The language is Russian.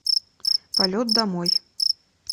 полет домой